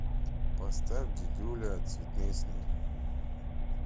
поставь дидюля цветные сны